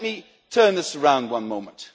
But let me turn this around one moment.